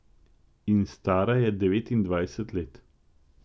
In stara je devetindvajset let.